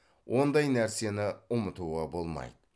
ондай нәрсені ұмытуға болмайды